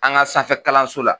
An ka sanfɛ kalanso la.